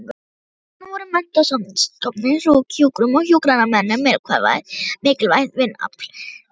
Sjúkrahúsin voru menntastofnanir í hjúkrun og hjúkrunarnemarnir mikilvægt vinnuafl þeirra.